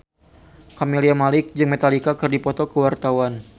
Camelia Malik jeung Metallica keur dipoto ku wartawan